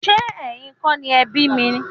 Ṣe ẹyìn kọ ni ẹ bi mi?